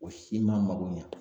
O si ma mako ɲɛ.